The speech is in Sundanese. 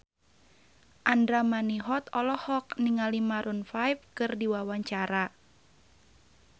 Andra Manihot olohok ningali Maroon 5 keur diwawancara